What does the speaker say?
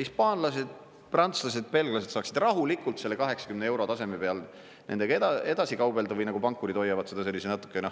Hispaanlased, prantslased, belglased saaksid rahulikult selle 80 euro taseme peal nendega edasi kaubelda, või nagu pankurid hoiavad seda sellise natukene